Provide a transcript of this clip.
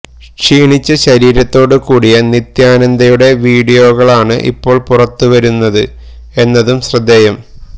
ക്ഷീണിച്ച ശരീരത്തോട് കൂടിയ നിത്യാനന്ദയുടെ വിഡിയോകളാണ് ഇപ്പോൾ പുറത്തുവരുന്നത് എന്നതും ശ്രദ്ധേയം